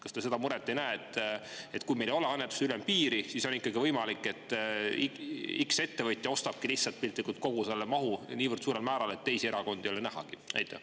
Kas te seda muret ei näe, et kui meil ei ole annetuste ülempiiri, siis on võimalik, et ettevõtja X lihtsalt ostabki piltlikult kogu selle mahu niivõrd suurel määral, et teisi erakondi ei ole nähagi?